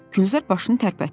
Gülzar başını tərpətdi.